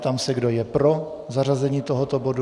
Ptám se, kdo je pro zařazení tohoto bodu.